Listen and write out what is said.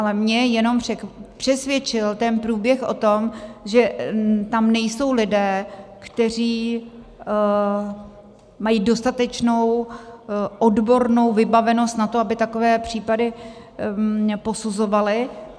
Ale mě jen přesvědčil ten průběh o tom, že tam nejsou lidé, kteří mají dostatečnou odbornou vybavenost na to, aby takové případy posuzovali.